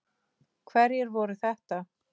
Hverjir voru þetta?